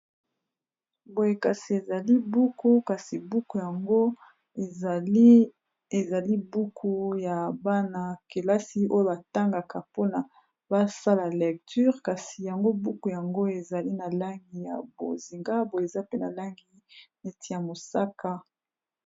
Boyekasi ezali buku kasi, buku yango ezali buku ya bana kelasi oyo batangaka mpona basala lecture kasi yango buku yango ezali na langi ya bozinga boye eza pe na langi neti ya mosaka.